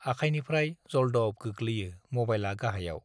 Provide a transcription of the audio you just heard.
आखायनिफ्राय जलदब गोग्लैयो मबाइलआ गाहायाव।